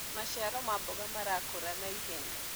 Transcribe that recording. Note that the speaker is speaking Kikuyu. maciaro ma mboga marakura ha naihenya